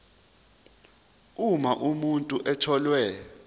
uma umuntu etholwe